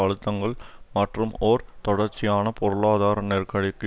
அழுத்தங்கள் மற்றும் ஒரு தொடர்ச்சியான பொருளாதார நெருக்கடிக்கு